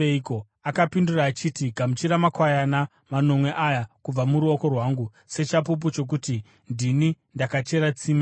Akapindura achiti, “Gamuchira makwayana manomwe aya kubva muruoko rwangu sechapupu chokuti ndini ndakachera tsime iri.”